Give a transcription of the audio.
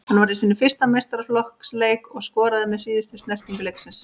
Hann var í sínum fyrsta meistaraflokksleik og skoraði með síðustu snertingu leiksins.